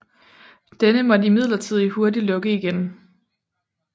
Denne måtte imidlertid hurtigt lukke igen